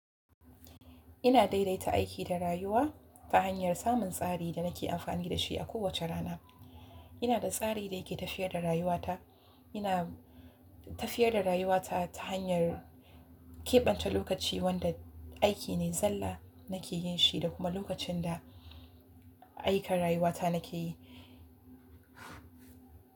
Ina daidaita aiki da rayuwa ta hanyar samun tsari da nake amfani da shi a kowace rana. Ina da tsari da yake tafiyar da rayuwata. Ina tafiyar da rayuwata ta hanyar keɓance lokaci wanda aiki ne zalla nake yin shi da kuma lokacin da aika rayuwata nake yi.